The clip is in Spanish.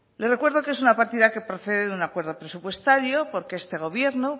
les recuerdo que es una partida que procede de un acuerdo presupuestario porque este gobierno